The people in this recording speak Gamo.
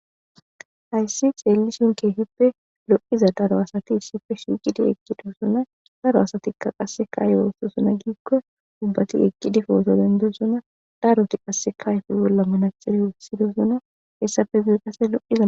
hayssi xeellishun keehippe lo7iza daro asati ssife shiuqidi eqqidoosona daro asatikka qasse kaaye woostosona giikko dubbati eqqidifooto dendosona daroti qasse kayfi bolla manaxere wossidosona hessafe guqase loqizao